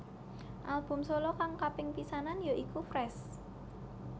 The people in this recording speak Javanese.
Album solo kang kaping pisanan ya iku Fresh